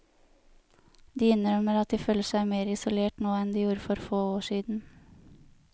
De innrømmer at de føler seg mer isolert nå enn de gjorde for få år siden.